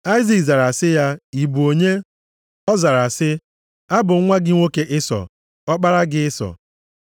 Aịzik zara sị ya, “Ị bụ onye?” Ọ zara sị, “Abụ m nwa gị nwoke Ịsọ, ọkpara gị Ịsọ.”